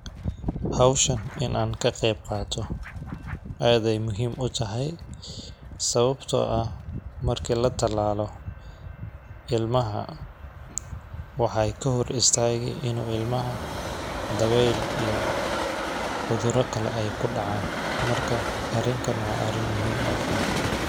Hawshan in aan ka qeyb qaato aadey muhiim u tahay ,sawabtoo ah marki la talaalo ilmaha waxeey ka hor istaagi inuu ilmaha daweel iyo cudura kale ay ku dhacaan ,marka arinkan waa arrin aad muhiim u ah.